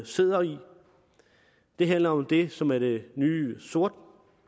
sidder i det handler om det som er det nye sort